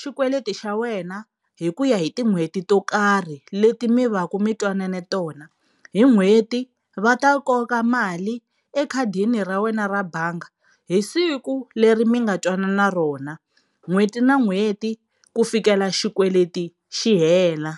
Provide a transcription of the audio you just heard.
xikweleti xa wena hi ku ya hi tin'hweti to karhi leti mi va ka mi twanane tona. Hi n'hweti va ta koka mali mali ekhadini ra wena ra bangi hi siku leri mi nga twanana rona. n'hweti na n'hweti ku fikela xikweleti xi hela.